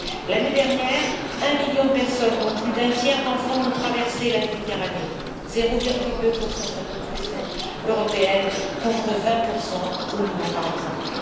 L'année dernière, un million de personnes, dont plus d'un tiers d'enfants, ont traversé la Méditerranée, 0,2 de de la population européenne contre 20 au Liban par exemple.